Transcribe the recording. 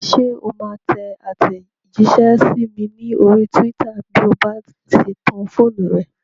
Ṣé o máa tẹ àtẹ̀jísẹ́ sí mi ní orí túwítà bí o bá ṣe tan fóònù rẹ?